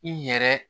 I yɛrɛ